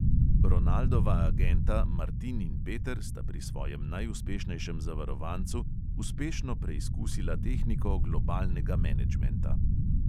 Ronaldova agenta, martin in peter sta pri svojem najuspešnejšem zavarovancu uspešno preizkusila tehniko globalnega menedžmenta.